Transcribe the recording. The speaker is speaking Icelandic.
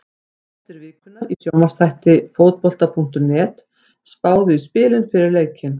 Gestir vikunnar í sjónvarpsþætti Fótbolta.net spáðu í spilin fyrir leikinn.